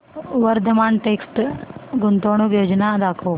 Vardhman text गुंतवणूक योजना दाखव